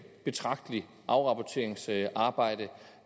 betragteligt afrapporteringsarbejde